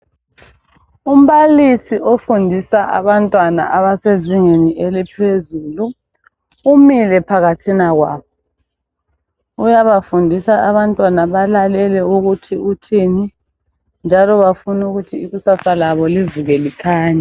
Umbalisi ofundisa abantwana abasezingeni eliphezulu umile phakathina kwabo uyabafundisa abantwana balalele ukuthi uthini njalo bafuna ukuthi ikusasa labo livuke likhanya.